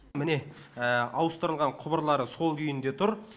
міне ауыстырылған құбырлары сол күйінде тұр